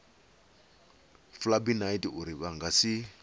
flybynight uri vha nga si